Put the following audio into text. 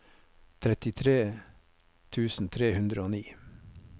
trettitre tusen tre hundre og ni